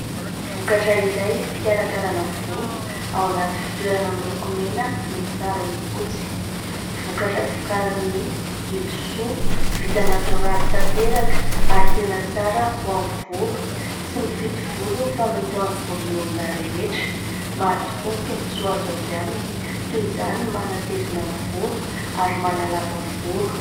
Vokatra iray fikarakarana volo ao anaty fitoerana miloko mena misy sarona fotsy, vokatra vokarin' i Ilosoa vita natoraly tanteraka ary tena tsara ho amin' ny volo, tsy mifidy volo fa mety amin' ny volon' olona rehetra, maro tokoa ny tombotsoa azo avy aminy toy izany ny manatevina ny volo ary manalava volo.